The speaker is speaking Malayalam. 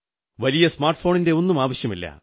വലിയ സ്മാർട്ട് ഫോണിന്റെയൊന്നും ആവശ്യമില്ല